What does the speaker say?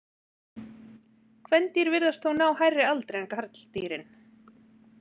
Kvendýr virðast þó ná hærri aldri en karldýrin.